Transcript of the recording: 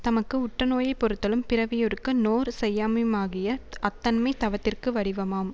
தமக்கு உட்டநோயைப் பொறுத்தலும் பிறவியொருக்கு நோர் செய்யாமையுமாகிய அத்தன்மை தவத்திற்கு வடிவமாம்